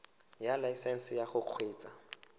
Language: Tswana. ya laesesnse ya go kgweetsa